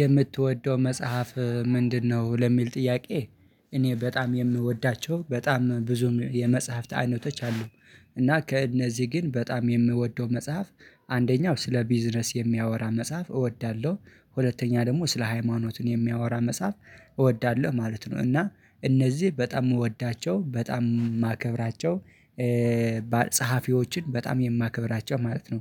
የምትወደው መጽሐፍ ምንድነው? ለሚል ጥያቄ እኔ በጣም የምወዳቸው በጣም ብዙ የመጽሐፍት አይነቶች አሉ። እና ከእነዚህ ግን በጣም የምወደው መጽሐፍ አንደኛው ስለ ቢዝነስ የሚያወራ መጽሐፍ እወዳለሁ ሁለተኛ ደግሞ ስለ ሃይማኖት የሚያወራ መጽሐፍ እወዳለሁ ማለት ነው እና እነዚህ በጣም የምወዳቸው በጣም የማከብራቸው ጸሀፊዎችን በጣም የማከብራቸው ማለት ነው።